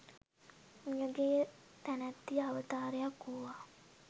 මියගිය තැනැත්තිය අවතාරයක් වූවා